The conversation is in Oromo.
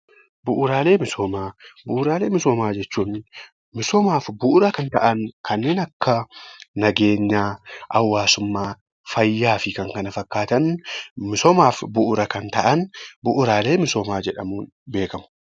Bu'uuraalee misoomaa jechuun misoomaaf bu'uura kan ta'an, kanneen akka: nageenyaa, hawaasummaa, fayyaa fi kan kana fakkaatan misoomaaf bu'uura kan ta'an bu'uuraalee misoomaa jedhamuun beekamu.